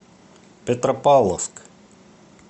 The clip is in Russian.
петропавловск